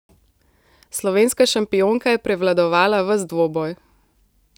Slovenska šampionka je prevladovala ves dvoboj.